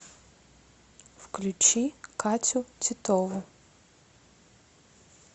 включи катю титову